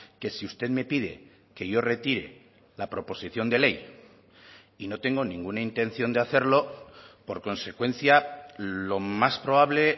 que si usted me pide que yo retire la proposición de ley y no tengo ninguna intención de hacerlo por consecuencia lo más probable